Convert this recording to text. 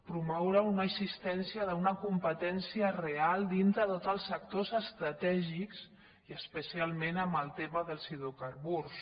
promoure una existència d’una competència real dintre de tots els sectors estratègics i especialment en el tema dels hidro·carburs